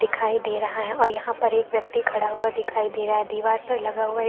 दिखाई दे रहा है और यहाँ पर एक व्यक्ति खड़ा हुआ दिखाई दे रहा है दिवार पर लगा हुआ एक --